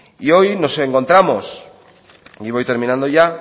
y hoy nos encontramos y voy terminando ya